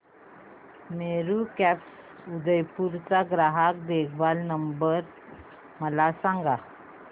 Meru cabs Udaipur चा ग्राहक देखभाल नंबर मला सांगा